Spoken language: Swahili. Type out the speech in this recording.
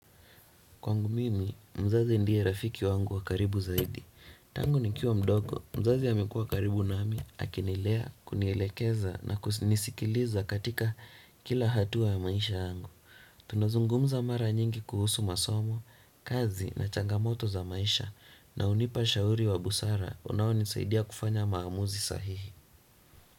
Kwangu mimi, mzazi ndiye rafiki wangu wa karibu zaidi. Tangu ni kiwa mdogo, mzazi amekuwa karibu nami, akinilea, kunielekeza na kusinisikiliza katika kila hatua ya maisha yangu. Tunazungumza mara nyingi kuhusu masomo, kazi na changamoto za maisha na hunipa ushauri wa busara unao ni saidia kufanya maamuzi sahihi.